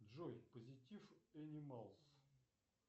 джой позитив энималс